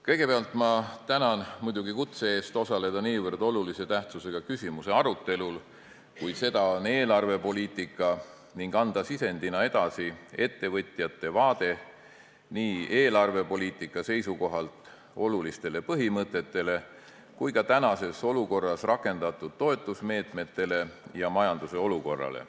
Kõigepealt tänan ma muidugi kutse eest osaleda niivõrd olulise tähtsusega küsimuse arutelul, kui seda on eelarvepoliitika, ning anda sisendina edasi ettevõtjate vaade nii eelarvepoliitika seisukohalt olulistele põhimõtetele kui ka tänases olukorras rakendatud toetusmeetmetele ja majanduse olukorrale.